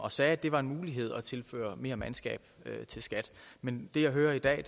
og sagde at det var en mulighed at tilføre mere mandskab til skat men det jeg hører i dag